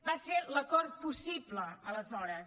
va ser l’acord possible aleshores